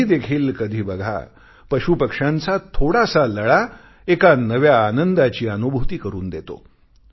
तुम्ही देखील कधी बघा पशुपक्ष्यांचा थोडासा लळा एका नव्या आनंदाची अनुभूती करून देतो